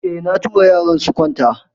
Eh, na tura yaran su kwanta.